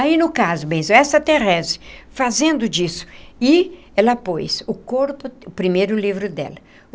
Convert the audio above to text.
Aí, no caso bem, essa Therese, fazendo disso, e ela pôs o corpo, o primeiro livro dela.